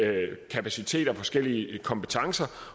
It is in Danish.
kapaciteter og forskellige kompetencer